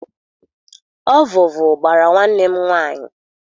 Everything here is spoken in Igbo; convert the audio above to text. Ọvụvụ gbara nwanne m nwaanyị.